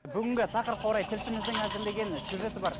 бүгінгі тақырыпқа орай тілшіміздің әзірлеген сюжеті бар